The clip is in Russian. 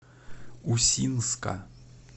усинска